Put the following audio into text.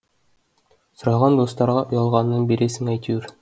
сұраған достарға ұялғаннан бересің әйтеуір